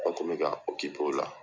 Mɔgɔ kun be ka o la